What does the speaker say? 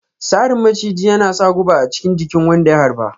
Sarrin maciji yana sa guba a chikin jikin wanda ya harba.